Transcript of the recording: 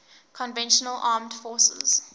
conventional armed forces